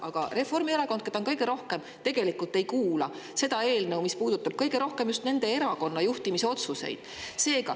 Aga Reformierakond, keda on kõige rohkem, ei kuula arutelu selle eelnõu üle, mis puudutab kõige rohkem just nende erakonna juhtimisotsuseid.